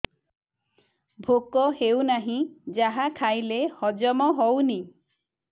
ଭୋକ ହେଉନାହିଁ ଯାହା ଖାଇଲେ ହଜମ ହଉନି